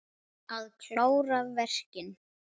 Að klára verkin.